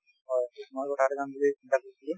হয়